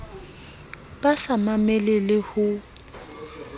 ba sa mamele le ho